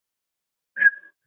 Þar lögðust þeir niður.